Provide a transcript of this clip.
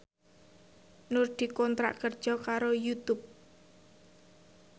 Nur dikontrak kerja karo Youtube